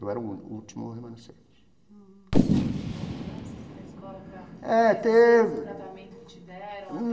Eu era o único o último remanescente. Você acha que teve uma mudança assim na escola É teve para esse tratamento que te deram?